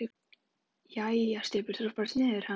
Jæja, Stubbur. þú ert bara sniðugur, ha!